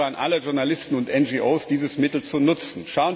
Ich appelliere an alle Journalisten und NGOs, dieses Mittel zu nutzen.